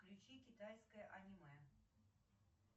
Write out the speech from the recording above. включи китайское аниме